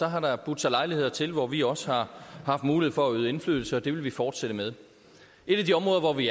har der budt sig lejligheder til hvor vi også har haft mulighed for at yde indflydelse og det vil vi fortsætte med et af de områder hvor vi